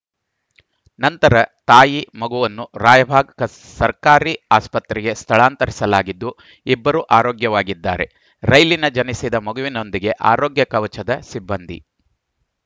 ನಂತರ ತಾಯಿ ಮಗುವನ್ನು ರಾಯಬಾಗ್ ಸರ್ಕಾರಿ ಆಸ್ಪತ್ರೆಗೆ ಸ್ಥಳಾಂತರಿಸಲಾಗಿದ್ದು ಇಬ್ಬರು ಆರೋಗ್ಯವಾಗಿದ್ದಾರೆ ರೈಲಿನ ಜನಸಿದ ಮಗುವಿನೊಂದಿಗೆ ಆರೋಗ್ಯ ಕವಚದ ಸಿಬ್ಬಂದಿ